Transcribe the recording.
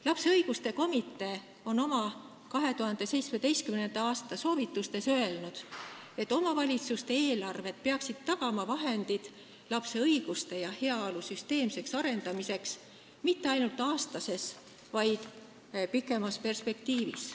Lapse õiguste komitee on oma 2017. aasta soovitustes öelnud, et omavalitsuste eelarved peaksid tagama vahendid lapse õiguste ja heaolu süsteemseks arendamiseks mitte ainult aastases, vaid ka pikemas perspektiivis.